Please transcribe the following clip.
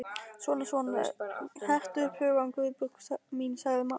Svona svona, hertu upp hugann, Guðbjörg mín sagði amma.